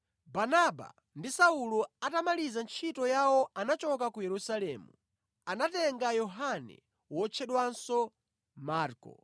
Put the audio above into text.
Barnaba ndi Saulo atamaliza ntchito yawo anachoka ku Yerusalemu, atatenga Yohane wotchedwanso Marko.